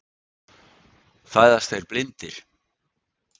Fæðast þeir blindir?